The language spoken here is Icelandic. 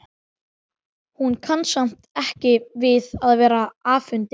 Hún kann samt ekki við að vera afundin.